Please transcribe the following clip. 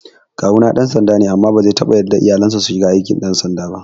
Kawuna ɗan sanda ne amma bazai taɓa yarda iyalansa su shiga aikin ɗan sanda ba